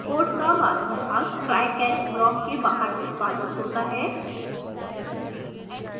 code का बाकी भाग try catch block के बाहर निष्पादित होता है